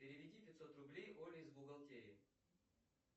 переведи пятьсот рублей оле из бухгалтерии